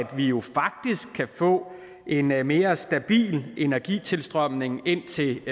vi jo faktisk kan få en mere mere stabil energitilstrømning ind til